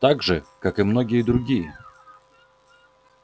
так же как и многие другие